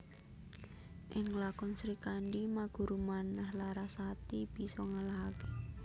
Ing lakon Srikandhi Maguru Manah Larasati bisa ngalahake